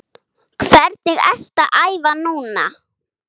Hvernig ertu að æfa núna?